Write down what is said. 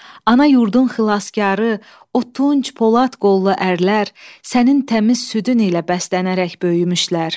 Ana yurdun xilaskarı, o tunc polad qollu ərlər, sənin təmiz südün ilə bəslənərək böyümüşlər.